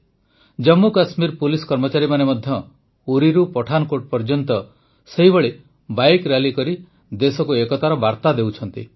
Jammu Kashmir police କର୍ମଚାରୀମାନେ ମଧ୍ୟ ଉରିରୁ ପଠାନକୋଟ ପର୍ଯ୍ୟନ୍ତ ସେହିଭଳି ବାଇକ୍ ରାଲି କରି ଦେଶକୁ ଏକତାର ବାର୍ତ୍ତା ଦେଉଛନ୍ତି